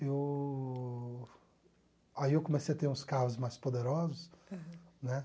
Eu... Aí eu comecei a ter uns carros mais poderosos, né?